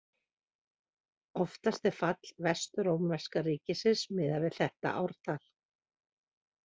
Oftast er fall Vestrómverska ríkisins miðað við þetta ártal.